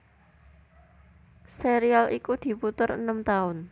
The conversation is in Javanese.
Serial iku diputer enem taun